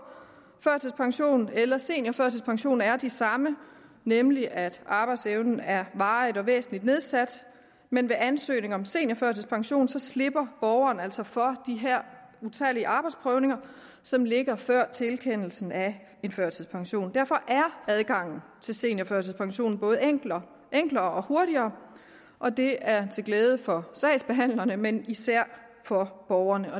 førtidspension eller seniorførtidspension er de samme nemlig at arbejdsevnen er varigt og væsentligt nedsat men ved ansøgning om seniorførtidspension slipper borgeren altså for de her utallige arbejdsprøvninger som ligger før tilkendelsen af en førtidspension derfor er adgangen til seniorførtidspension både enklere enklere og hurtigere og det er til glæde for sagsbehandlerne men især for borgerne